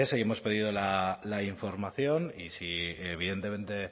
y hemos pedido la información y si evidentemente